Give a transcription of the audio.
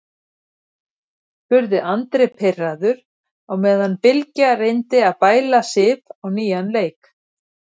spurði Andri pirraður á meðan Bylgja reyndi að bæla Sif á nýjan leik.